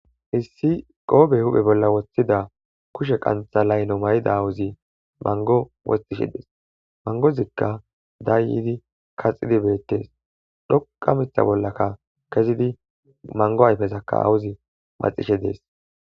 hissi qoobe huphe bolla wosthida kushe qantha layno may7ida awuzi mango wosxishe dees mangozikka dayyidi kaxxidi bettees dhoqa mitha bollaka kezidi mango ayfezakka awuzi maxishe dees